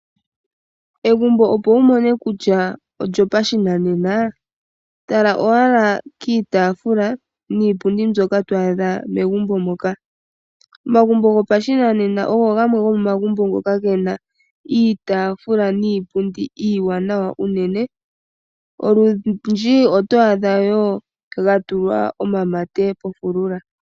Egumbo opo wu mone kutya olyo pashinanena tala owala kiitafula niipundi mbyoka twaadha megumbo moka omagumbo gopashinanena ogo gamwe gomomagumbo ngoka gena iitafula niipundi iinene olundji oto adha wo ga tulwa omamate pofulula.